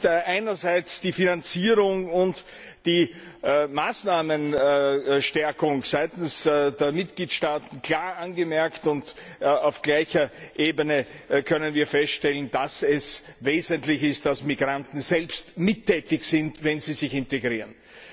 Es ist einerseits die Finanzierung und die Maßnahmenstärkung seitens der Mitgliedstaaten klar angemerkt, und auf gleicher Ebene können wir feststellen, dass es wesentlich ist, dass Migranten selbst tätig werden, wenn sie sich integrieren.